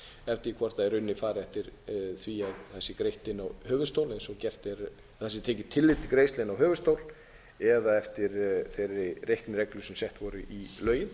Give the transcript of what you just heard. forsendur og séð hverju munar eftir því hvort í rauninni er farið eftir því að það sé tekið tillit til greiðslu inn á höfuðstól eða eftir þeirri reiknireglu sem sett voru í lögin